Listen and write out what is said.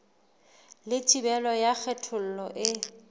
le thibelo ya kgethollo e